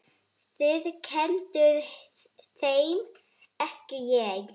Þið kennduð þeim, ekki ég.